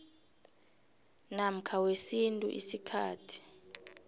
namkha wesintu isikhathi